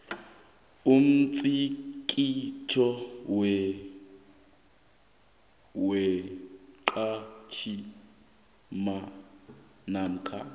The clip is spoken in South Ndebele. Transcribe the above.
umtlikitlo womqhatjhi namkha